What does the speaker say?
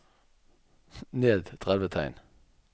Ned tretti tegn